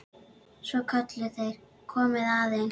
Svo kölluðu þeir: Komiði aðeins!